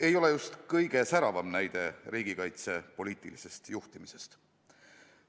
Ei ole just kõige säravam näide riigikaitse poliitilisest juhtimisest.